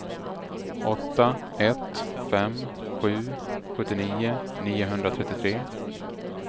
åtta ett fem sju sjuttionio niohundratrettiotre